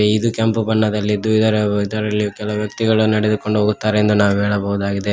ಇದು ಕೆಂಪ ಬಣ್ಣದಲ್ಲಿದ್ದು ಇದರ ಕೆಲ ವ್ಯಕ್ತಿಗಳು ನಡೆದುಕೊಂಡು ಹೋಗುತ್ತಾರೆ ಎಂದು ನಾವು ಹೇಳಬಹುದಾಗಿದೆ.